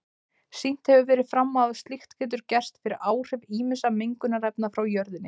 Sýnt hefur verið fram á að slíkt getur gerst fyrir áhrif ýmissa mengunarefna frá jörðinni.